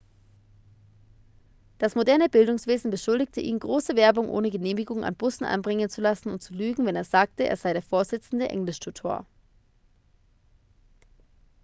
das moderne bildungswesen beschuldigte ihn große werbung ohne genehmigung an bussen anbringen zu lassen und zu lügen wenn er sagte er sei der vorsitzende englischtutor